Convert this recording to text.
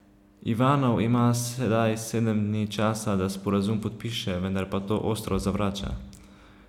Ivanov ima sedaj sedem dni časa, da sporazum podpiše, vendar pa to ostro zavrača.